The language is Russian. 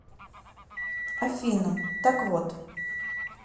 афина так вот